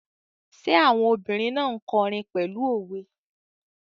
Ṣé àwọn obìrin náà n kọrin pẹ̀lú òwe?